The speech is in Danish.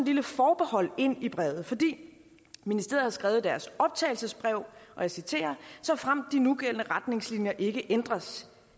lille forbehold ind i brevet fordi ministeriet har skrevet i deres optagelsesbrev og jeg citerer såfremt de nugældende retningslinjer ikke ændres